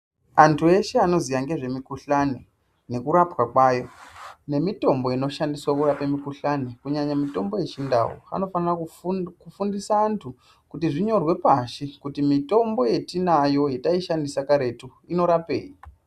Antu eshe anoziya ngezvemikuhlani nekurapwa kwayo nemitombo inoshandiswa kurapa mukuhlani kunyanya mitombo yechindau anofana kufundisa antu kuti zvinyorwe pashi kuti mitombo yetinayi yetaishandisa karetu inorapei.